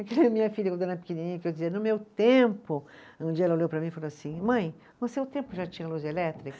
Aquela minha filha, quando era pequenininha, que eu dizia, no meu tempo, um dia ela olhou para mim e falou assim, mãe, no seu tempo já tinha luz elétrica?